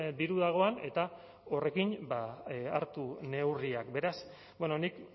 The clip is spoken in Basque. diru dagoen eta horrekin hartu neurriak beraz nik